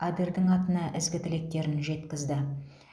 адердің атына ізгі тілектерін жеткізді